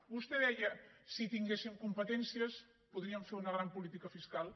vostè deia si tinguéssim competències podríem fer una gran política fiscal